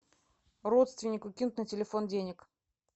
родственнику кинуть на телефон денег